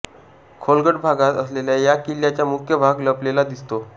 खोलगट भागात असलेल्या या किल्याचा मुख्य भाग लपलेला दिसतो